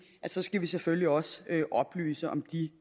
at så skal vi selvfølgelig også oplyse om de